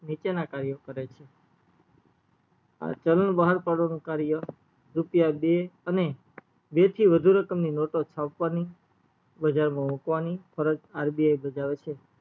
નીચે ના કર્યો કરે છે ચલન બહાર પડવાનું કાર્ય રૂપિયા દે અને બે થી વાદ્ધું રકમોની નોટો છાપવાની બજારમાં મુકવાની ફરજ RBI ભજવે છે